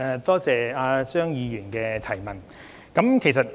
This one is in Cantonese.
多謝張議員的補充質詢。